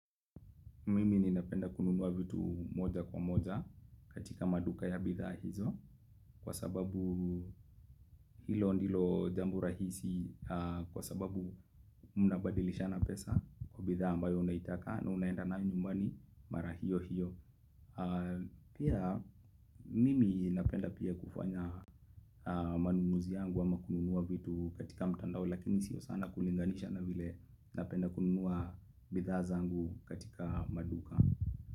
Mimi ni napenda kununua vitu moja kwa moja katika maduka ya bidhaa hizo kwa sababu hilo ndilo jambo rahisi kwa sababu mnabadilishana pesa kwa bidhaa ambayo unaitaka na unaenda nayo nyumbani mara hiyo hiyo. Pia mimi napenda pia kufanya manunuzi yangu ama kununua vitu katika mtandao lakini si sana kulinganisha na vile napenda kununua bidhaa zangu katika maduka.